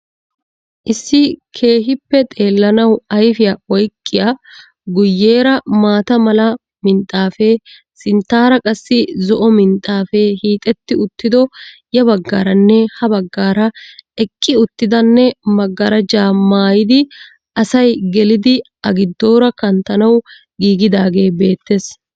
Issi keehhippe xeelanawu ayfiyaa oyqqiyaa guyeera maatta mala minxxaafee, sinttaara qassi zo'o minxxaafee hiixxetti uttido, ya bagaaranne ha bagaara eqqi uttidanne magaaraja maayiidi asi gelido a giidoora kanttanawu gigidaagee beettees.